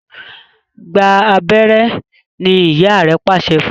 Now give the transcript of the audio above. Gbà abéré! ní ìyá rẹ pàṣẹ fún.